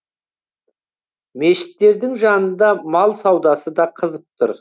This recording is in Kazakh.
мешіттірдің жанында мал саудасы да қызып тұр